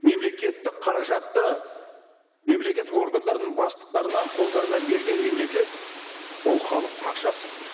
мемлекеттік қаражатты мемлекеттік органдардың бастықтарына қолдарына берген мемлекет ол халықтың ақшасы